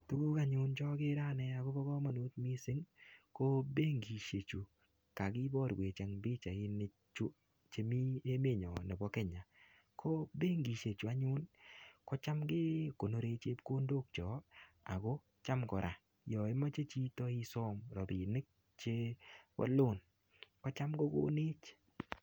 Tuguk anyun chogere anne agobo kamanut mising, ko benkisiechu kakiborwech eng pichainichu chemi emenyon nebo Kenya ko benkisiechu anyun kocham ke konore chepkondokchok ago cham kora yoimoche chito isom ropinik chebo loan ko cham kokonech.